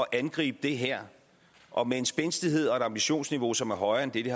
angribe det her og med en spændstighed og et ambitionsniveau som er højere en det det